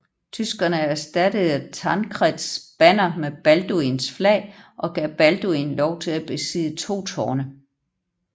Tyrkerne erstattede Tancreds banner med Balduins flag og gav Balduin lov til at besidde to tårne